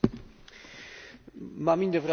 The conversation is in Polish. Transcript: Mam inne wrażenie niż pan poseł.